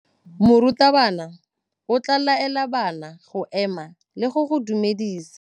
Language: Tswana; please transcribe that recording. Morutabana o tla laela bana go ema le go go dumedisa.